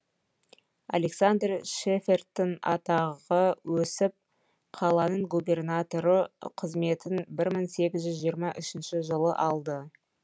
александр шефердтың атағы өсіп қаланың губернаторы қызметін мың сегіз жүз жетпіс үш жылы алды